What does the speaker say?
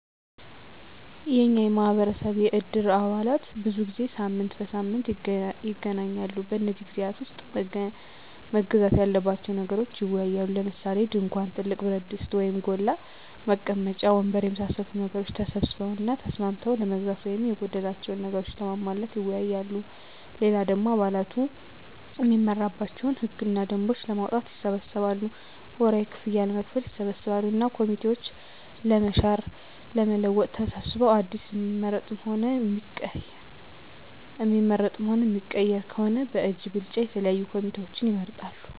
የኛ ማህበረሰብ የእድር አባላት ብዙ ጊዜ ሳምንት በሳምንት ይገናኛሉ። በነዚህ ግዜያት ዉስጥ መገዛት ያለባቸዉን ነገሮች ይወያያሉ። ለምሳሌ፦ ድንኳን፣ ትልቅ ብረትድስት (ጎላ) ፣ መቀመጫ ወንበር የመሳሰሉትን ነገሮች ተሰብስበዉ እና ተስማምተዉ ለመግዛት ወይም የጎደላቸዉን ነገሮች ለማሟላት ይወያያሉ። ሌላ ደሞ አባላቱ እሚመራባቸዉን ህግ እና ደንቦች ለማዉጣትም ይሰበሰባሉ፣ ወርሀዊ ክፍያም ለመክፈል ይሰበሰባሉ እና ኮሚቴዎችን ለመሻር ለመለወጥ ተሰብስበዉ አዲስ እሚመረጥም ሆነ እሚቀየር ከሆነም በእጅ ብልጫ የተለያዩ ኮሚቴዎችን ይመርጣሉ።